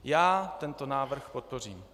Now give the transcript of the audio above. Já tento návrh podpořím.